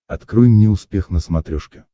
открой мне успех на смотрешке